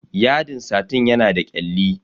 Yadin satin yana da kyalli.